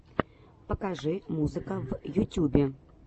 покажи музыка в ютюбе